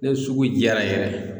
Ne sugu jara yɛrɛ